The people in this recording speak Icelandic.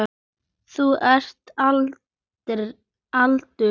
Þú ert kaldur!